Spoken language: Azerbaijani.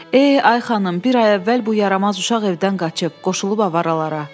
Ey, ay xanım, bir ay əvvəl bu yaramaz uşaq evdən qaçıb, qoşulub avaralara.